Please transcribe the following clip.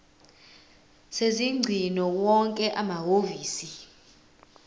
sezingcingo wonke amahhovisi